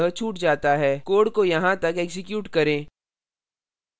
code को यहाँ तक एक्जीक्यूट करें